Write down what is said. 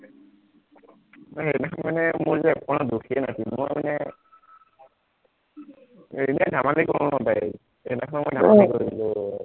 মানে সেইদিনাখন মানে মোৰ যে অকণো দোষেই নাছিল মই মানে এনেই ধেমালি কৰো ন তাইক সেইদিনাখন মই ধেমালি কৰিলো